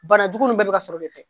Bana jugu nun bɛɛ bi ka sɔrɔ o de fɛ